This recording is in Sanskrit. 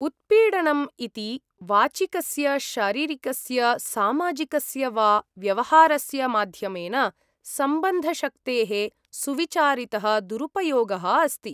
उत्पीडनम् इति वाचिकस्य, शारीरिकस्य, सामाजिकस्य वा व्यवहारस्य माध्यमेन सम्बन्धशक्तेः सुविचारितः दुरुपयोगः अस्ति।